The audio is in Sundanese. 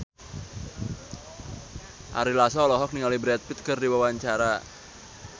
Ari Lasso olohok ningali Brad Pitt keur diwawancara